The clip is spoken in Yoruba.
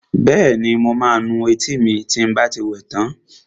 Bẹ́ẹ̀ni, mo máa nu etí mi lẹ́yìn tí n bá ti wẹ tán